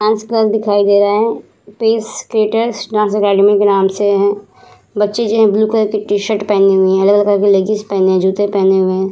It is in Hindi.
डांस क्लास दिखई दे रहे है पेस क्रिएटर्स डांस एकडमी के नाम से है बच्चे जो है ब्लू कलर की टी-शर्ट पहने हुए है अलग-अलग कलर की लगीज पहने है जूते पहने हुए है ।